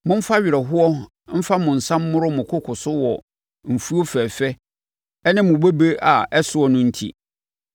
Momfa awerɛhoɔ mfa mo nsa mmoro mo koko so wɔ mfuo fɛfɛ ne mo bobe a ɛsoɔ no enti.